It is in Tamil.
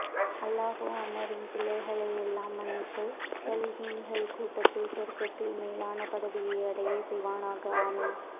அல் லாஹு அன்னாரின் பிழைகளை எல்லாம் மன்னித்து சாளிஹீன்கள் கூட்டத்தில் சொர்க்கத்தில் மேலான பதவியை அடைய செய்வானாக ஆமீன்